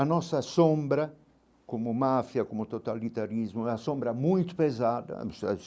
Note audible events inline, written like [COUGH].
A nossa sombra, como máfia, como totalitarismo, é uma sombra muito pesada. [UNINTELLIGIBLE]